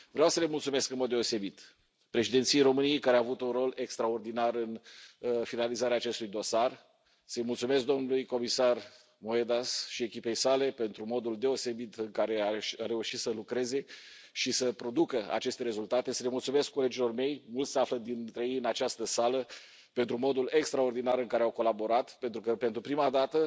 Vreau să le mulțumesc în mod deosebit președinției României, care a avut un rol extraordinar în finalizarea acestui dosar, să îi mulțumesc domnului comisar Moedas și echipei sale pentru modul deosebit în care a reușit să lucreze și să producă aceste rezultate, să le mulțumesc colegilor mei mulți dintre ei se află în această sală pentru modul extraordinar în care au colaborat, pentru că, pentru prima dată,